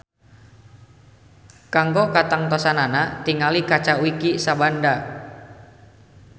Kanggo katangtosanana tingali kaca Wiki Sabanda.